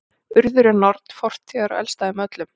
urður er norn fortíðar og elst af þeim öllum